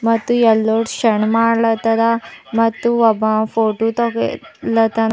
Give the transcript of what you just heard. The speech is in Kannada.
ಮತ್ತು ಯಲ್ಲೋದ ಶನಮಾಡಲಾತದ ಮತ್ತು ಒಬ್ಬ ಫೋಟೋ ತಗಿ ಲಾತಾನ --